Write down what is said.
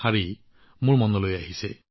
আকাশলৈ মুৰ দাঙিবলৈ